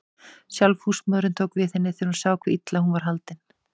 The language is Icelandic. Sjálf húsmóðirin tók við henni þegar hún sá hve illa hún var haldin.